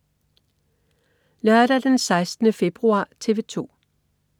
Lørdag den 16. februar - TV 2: